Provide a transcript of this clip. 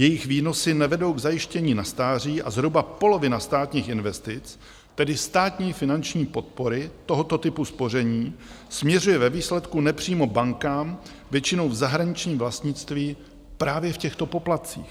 Jejich výnosy nevedou k zajištění na stáří a zhruba polovina státních investic, tedy státní finanční podpory tohoto typu spoření, směřuje ve výsledku nepřímo bankám, většinou v zahraničním vlastnictví, právě v těchto poplatcích.